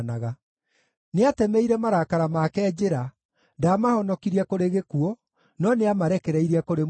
Nĩaatemeire marakara make njĩra; ndamahonokirie kũrĩ gĩkuũ, no nĩamarekereirie kũrĩ mũthiro.